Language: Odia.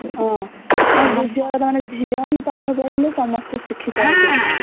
ହଁ ଆଉ ଦୁତୀୟ କଥା ଝିଅ ହିଁ ପାଠ ପଢିଲେ ସମସ୍ତେ ଶିକ୍ଷିତ ହେବେ